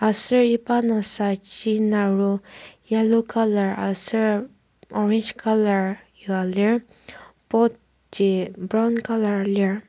aser iba anüsaji naro yellow colour aser orange colour yua lir pot ji brown colour lir.